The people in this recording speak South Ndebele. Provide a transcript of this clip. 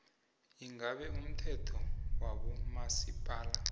ingabe umthetho wabomasipala